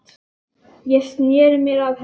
Ég sneri mér að henni.